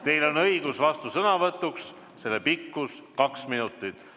Teil on õigus vastusõnavõtuks, selle pikkus kaks minutit.